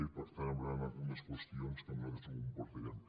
i per tant hi hauran algunes qüestions que nosaltres no compartirem